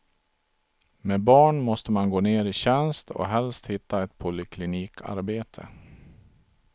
Med barn måste man gå ner i tjänst och helst hitta ett poliklinikarbete.